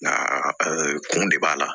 Nka kun de b'a la